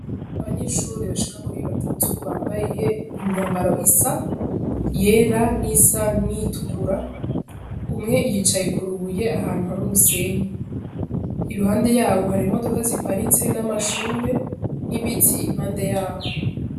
Abanyeshure bashika kuri batatu bambaye imyambaro isa, iyera n'iyisa nk'iyitukura umwe yicaye ku rubuye ahantu hari umusenyi, iruhande yaho hari imodoka ziparitse n'amashure n'ibiti impande yaho.